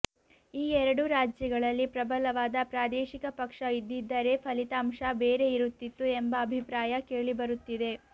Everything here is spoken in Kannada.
ಆ ಎರಡೂ ರಾಜ್ಯಗಳಲ್ಲಿ ಪ್ರಬಲವಾದ ಪ್ರಾದೇಶಿಕ ಪಕ್ಷ ಇದ್ದಿದ್ದರೆ ಫಲಿತಾಂಶ ಬೇರೆ ಇರುತ್ತಿತ್ತು ಎಂಬ ಅಭಿಪ್ರಾಯ ಕೇಳಿಬರುತ್ತಿದೆ